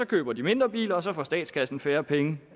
køber mindre biler og så får statskassen færre penge